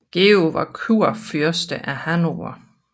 Georg var også kurfyrste af Hannover